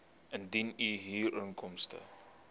indien u huurinkomste